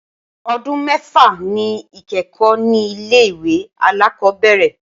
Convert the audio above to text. Ọdún mẹ́fà ni ìkẹ́kọ̀ọ́ ní ilé ìwé alákọ̀ọ́bẹ̀rẹ̀.